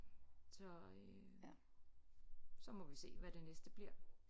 Så øh så må vi se hvad det næste bliver